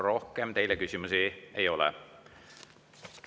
Rohkem teile küsimusi ei ole.